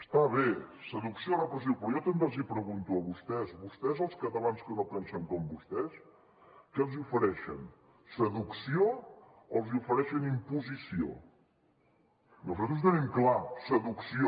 està bé seducció o repressió però jo també els pregunto a vostès vostès als catalans que no pensen com vostès què els ofereixen seducció o els ofereixen imposició nosaltres ho tenim clar seducció